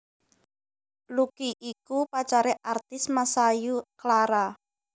Lucky iku pacaré artis Masayu Clara